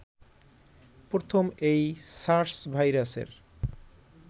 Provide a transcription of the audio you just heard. প্রথম এই সার্স ভাইরাসের